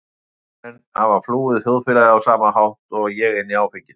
Þeir menn hafa flúið þjóðfélagið á sama hátt og ég- inn í áfengið.